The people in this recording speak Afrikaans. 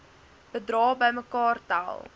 bedrae bymekaar tel